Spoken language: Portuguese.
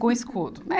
Com escudo.